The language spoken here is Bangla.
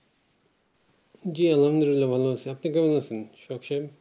জি আল্লাহামদুল্লিয়া ভালো আছি আপনি কেমন আছেন হোসেব সাব